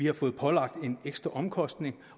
har fået pålagt en ekstra omkostning